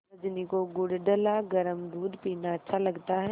रजनी को गुड़ डला गरम दूध पीना अच्छा लगता है